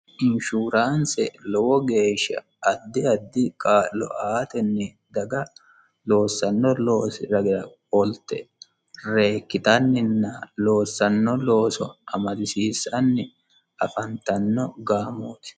Inshurannise lowo geeshsha addi addi kaa'lo aatenni dagga loosano loosi raggira qolitte reekitanina loosano looso amadisisanni afannittano gaamotti